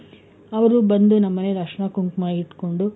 ಅವ್ರು ಬಂದು ನಮ್ಮನೆನಲ್ಲಿ ಅರಿಶಿಣ ಕುಂಕುಮ ಇಟ್ಕೊಂಡು,